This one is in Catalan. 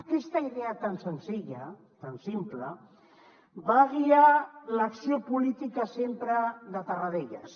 aquesta idea tan senzilla tan simple va guiar l’acció política sempre de tarradellas